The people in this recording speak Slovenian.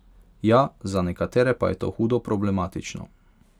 Ja, za nekatere pa je to hudo problematično.